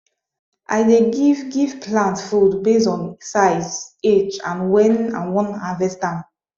i dey give give plant food based on size age and when i wan harvest am